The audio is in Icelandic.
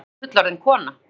Að ég sé fullorðin kona.